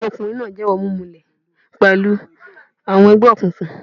Ọmọkùnrin náà jẹ́wọ́ mímulẹ̀y pẹ̀lú àwọn ẹgbẹ́ òkùnkùn.